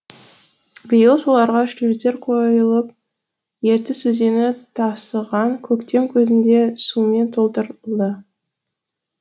биыл соларға шлюздер қойылып ертіс өзені тасыған көктем кезінде сумен толтырылды